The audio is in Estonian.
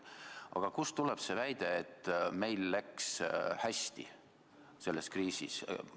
Aga kust tuleb see väide, et meil läks selles kriisis hästi?